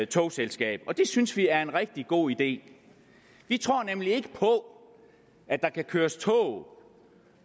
togselskab og det synes vi er en rigtig god idé vi tror nemlig ikke på at der kan køres tog